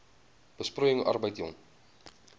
besproeiing arbeid jong